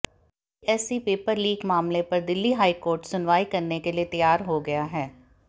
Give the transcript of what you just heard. CBSE paper leak मामले पर Delhi high court सुनवाई करने के लिए तैयार हो गया है